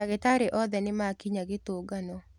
ndagītarī othe nīmakinya gītungano.